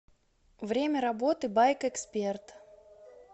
время работы байкэксперт